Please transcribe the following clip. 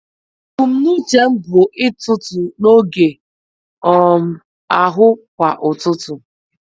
Ebumnuche m bụ ịtụtụ n’otu oge um ahụ kwa ụtụtụ.